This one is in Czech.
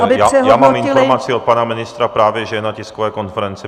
Já mám informaci od pana ministra právě, že je na tiskové konferenci.